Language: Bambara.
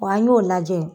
Wa an y'o lajɛ